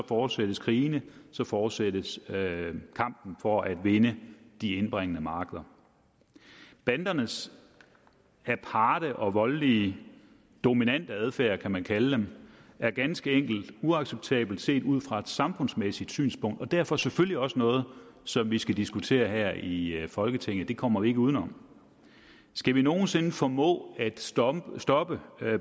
fortsættes krigene fortsættes kampen for at vinde de indbringende markeder bandernes aparte og voldelige dominante adfærd kan man kalde det er ganske enkelt uacceptabel set ud fra et samfundsmæssigt synspunkt og derfor selvfølgelig også noget som vi skal diskutere her i folketinget det kommer vi ikke udenom skal vil nogen sinde formå at stoppe stoppe